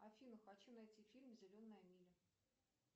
афина хочу найти фильм зеленая миля